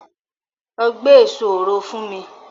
Lọ gbé èso òro fún mi!